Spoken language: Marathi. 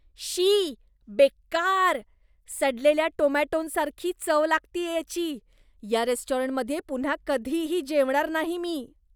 शी! बेकार! सडलेल्या टोमॅटोंसारखी चव लागतेय याची, या रेस्टॉरंटमध्ये पुन्हा कधीही जेवणार नाही मी.